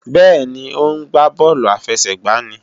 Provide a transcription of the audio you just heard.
Bẹ́ẹ̀ni, ó ń gbá bọ́ọ̀lù àfẹsẹ̀gbá ní